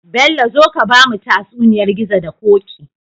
Bello zo ka bamu tatsuniyar gizo da koki